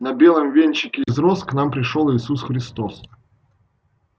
на белом венчике из роз к нам пришёл иисус христос